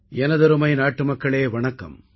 எனதருமை நாட்டுமக்களே வணக்கம்